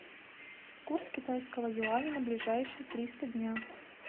курс китайского юаня на ближайшие триста дня